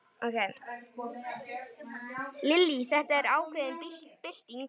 Lillý: Þetta er ákveðin bylting?